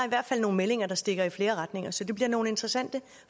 i hvert fald nogle meldinger der stikker i flere retninger så det bliver nogle interessante